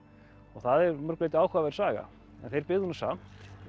og það er að mörgu leyti áhugaverð saga en þeir byggðu nú samt